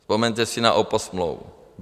Vzpomeňte si na oposmlouvu.